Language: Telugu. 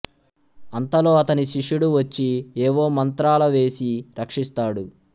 అంతలో అతని శిష్యుడు వచ్చి ఏవో మంత్రాల వేసి రక్షిస్తాడు